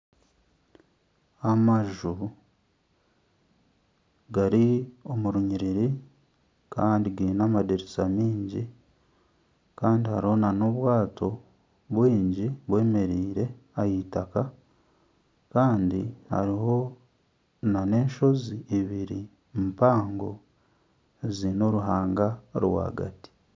Amaju gari omu runyiriri kandi gaine amadirisa mingi kandi hariho n'obwato bwingi bwemereire aha itaka kandi hariho n'enshozi ibiri mpango ziine oruhanga rwagati